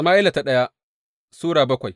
daya Sama’ila Sura bakwai